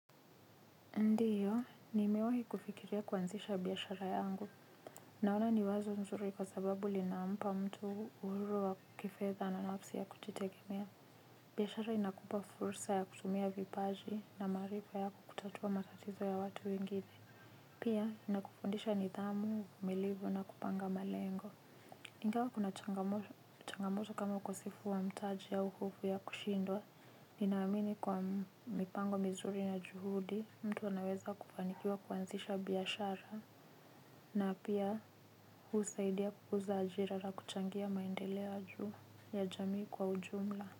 Ndiyo, nimewahi kufikiria kuanzisha biashara yangu. Naona ni wazo nzuri kwa sababu linampa mtu uhuru wa kifedha na nafsi ya kujitegemea. Biashara inakupa fursa ya kutumia vipaji na maarifa yako kutatua matatizo ya watu wengine. Pia, inakufundisha nidhamu, uvumilivu na kupanga malengo. Ingawa kuna changamoto kama ukosefu wa mtaji au hofu ya kushindwa nina amini kwa mipango mizuri na juhudi. Mtu wanaweza kufanikiwa kuanzisha biashara. Na pia husaidia kukuza ajira la kuchangia maendelea juu ya jamii kwa ujumla.